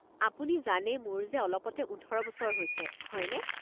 আপুনি জানে মোৰ যে অলপতে ১৮ বছৰ হৈছে, হয়নে?